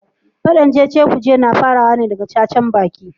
Fadan cecekuce na farawa ne daga cacarbaki.